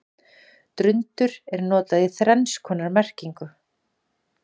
Drundur er notað í þrenns konar merkingu.